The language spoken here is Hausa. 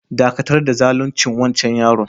Dakatar da zalunce wancan yaron!